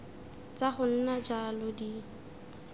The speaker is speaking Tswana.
tsa go nna jalo di